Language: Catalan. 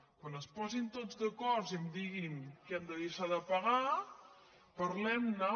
quan es posin tots d’acord i em diguin què em de deixar de pagar parlem ne